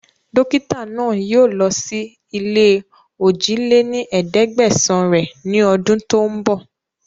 Dókítà náà yii o lọ síí ilé ojì lé ní ẹ̀ẹ́dẹ́gbẹ́sán rẹ ni ọdún tòun bọ̀